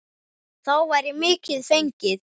Þá væri mikið fengið.